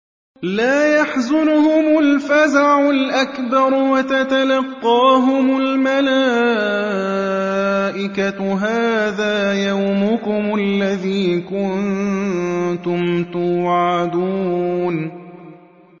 لَا يَحْزُنُهُمُ الْفَزَعُ الْأَكْبَرُ وَتَتَلَقَّاهُمُ الْمَلَائِكَةُ هَٰذَا يَوْمُكُمُ الَّذِي كُنتُمْ تُوعَدُونَ